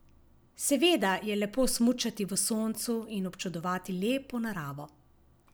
Seveda je lepo smučati v soncu in občudovati lepo naravo.